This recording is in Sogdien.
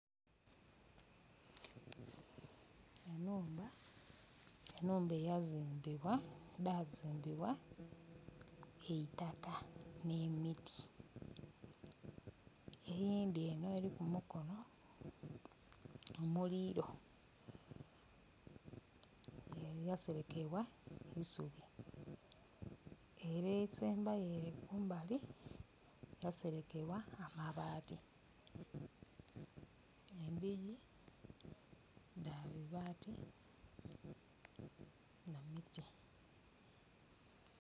Enhumba edhazimbibwa eitaka ne miti eyindhi eno eri ku mukono omuliro yaserekebwa eisubi ere esembayo ere kumbali yaserekebwa amabati, endhigi dha bibaati na miti.